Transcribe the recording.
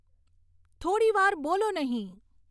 થોડી વાર બોલો નહીં